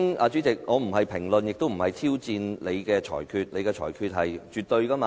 主席，我並非評論或挑戰你的裁決，你的裁決是絕對的，對嗎？